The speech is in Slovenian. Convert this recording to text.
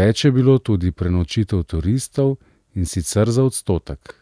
več je bilo tudi prenočitev turistov, in sicer za odstotek.